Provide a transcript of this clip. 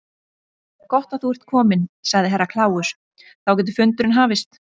Gott að þú ert kominn, sagði Herra Kláus, þá getur fundurinn hafist.